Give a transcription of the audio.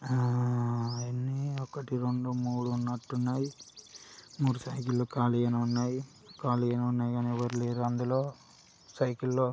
ఆ ఆ ఒకటి రెండు మూడు ఉన్నటున్నై మూడు సైకిల్లు కాలిగానే ఉన్నాయి కాలిగానే ఉన్నాయి కానీ ఎవరు లేరు అందులో సైకిల్లు --